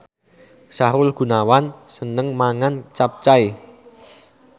Sahrul Gunawan seneng mangan capcay